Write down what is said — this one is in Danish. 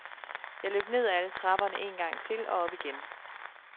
Jeg løb nedad alle trapperne en gang til og op igen.